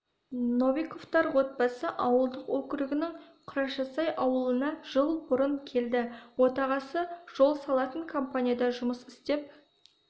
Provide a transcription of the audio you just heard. новиковтар отбасы ауылдық округінің құрашасай ауылына жыл бұрын келді отағасы жол салатын компанияда жұмыс істеп